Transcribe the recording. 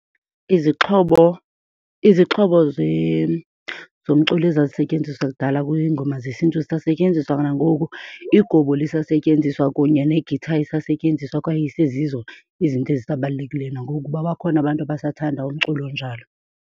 Izixhobo, izixhobo zomculo ezazisentyenziswa kudala kwiingoma zesiNtu zisasetyenziswa nangoku. Igubu lisasetyenziswa kunye ne-guitar isasetyenziswa kwaye isezizo izinto ezisabalulekileyo nangoku kuba bakhona abantu abasathanda umculo onjalo.